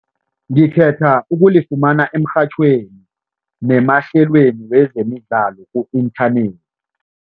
Ngikhetha ukulifumana emrhatjhweni nemahlalweni wezemidlalo ku-inthanethi.